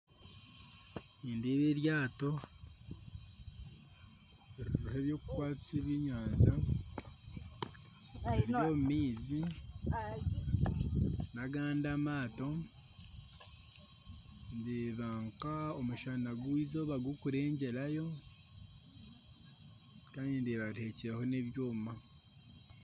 Nindeeba eryato ririho ebyokukwatisa ebyenyanja riri omu maizi nagandi amaato ndeeba nk'omushana gw'eizooba gurikurengyerayo kandi ndeeba rihekyereho n'ebyoma